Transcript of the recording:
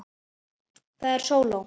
Það eru sóló.